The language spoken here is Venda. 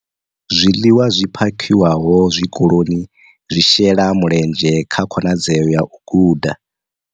Zwiḽiwa zwi phakhiwaho tshikoloni zwi shela mulenzhe kha khonadzeo ya u guda, u nweledza na u dzhenela kha ngudo kiḽasini.